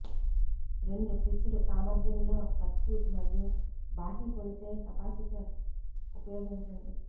రెండు స్విచ్డ్ సామర్థ్యంలో సర్క్యూట్ మరియు బాహ్య కొలిచే కెపాసిటర్ ఉపయోగించండి